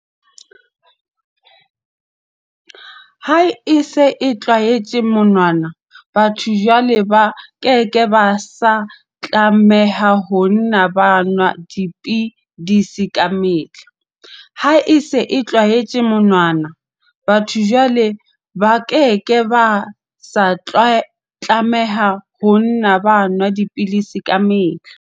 Ha e se e tjhaetswe monwana, batho jwale ba ke ke ba sa tlameha ho nna ba nwa dipidisi kamehla.